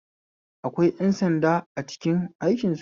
Akwai ƴan sanda a cikin aikin soja